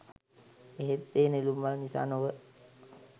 එහෙත් ඒ නෙළුම් මල නිසා නොව